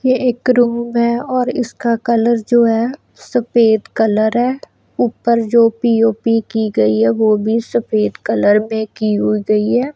ये एक रूम है और इसका कलर जो है सफेद कलर है। ऊपर जो पी_ओ_पी की गई है वो भी सफेद कलर में की हु गई है।